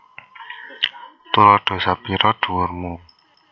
Tuladha sepira dhuwur mu